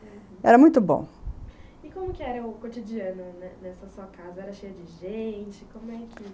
Uhum. Era muito bom. E como que era o cotidiano nessa nessa sua casa? Era cheio de gente? como era que...